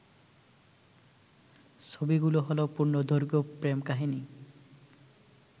ছবিগুলো হলো পূর্ণদৈর্ঘ্য প্রেম কাহিনী